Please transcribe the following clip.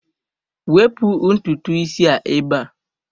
Wepụ ntutu isi a ebe a!